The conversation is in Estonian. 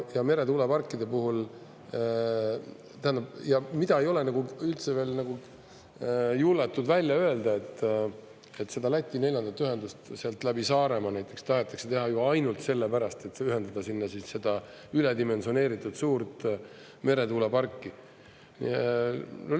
Ja meretuuleparkide puhul ei ole üldse nagu julgetud välja öelda, et seda Läti neljandat ühendust sealt läbi Saaremaa tahetakse teha ju ainult sellepärast, et ühendada sinna seda üledimensioneeritud suurt meretuuleparki.